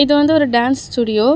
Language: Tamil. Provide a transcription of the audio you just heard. இது வந்து ஒரு டான்ஸ் ஸ்டுடியோ .